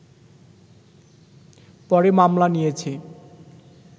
পরে মামলা নিয়েছে